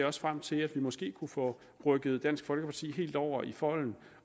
også frem til at vi måske kunne få rykket dansk folkeparti helt over i folden